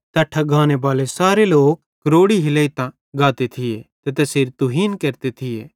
तैट्ठां गानेबाले सारे लोक दोग हिलेइतां गाते थिये ते तैसेरी तुहीन केरते थिये